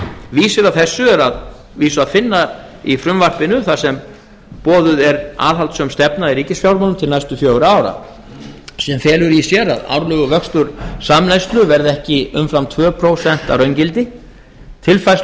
vísir að þessu er að vísu að finna í frumvarpinu þar sem boðuð er aðhaldssöm stefna í ríkisfjármálum til næstu fjögurra ára sem felur í sér að árlegur vöxtur samneyslu verði ekki umfram tvö prósent að raungildi